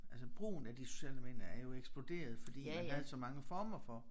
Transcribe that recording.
Altså brugen af de sociale medier er jo eksploderet fordi man havde så mange former for